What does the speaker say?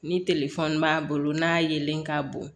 Ni b'a bolo n'a yelen k'a bon